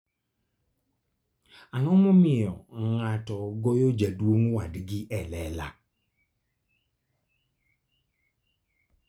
Ang'o momiyo ng'ato goyo jaduong' wadgi e lela?